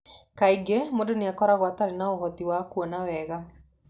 Kaingĩ mũndũ nĩ akoragwo atarĩ na ũhoti wa kuona wega.